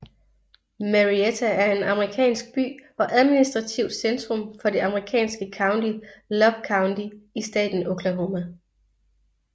Marietta er en amerikansk by og administrativt centrum for det amerikanske county Love County i staten Oklahoma